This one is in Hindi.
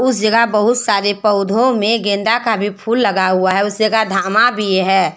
उस जगह बहुत सारे पौधों में गेंदा का भी फूल लगा हुआ है उस जगह धामा भी है।